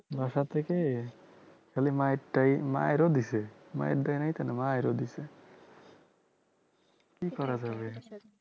বাসার থেকে খালি মারটাই মাইরও দিয়েছে মাইর দেয় নাই কেন মাইরও দিছে কি করা যাবে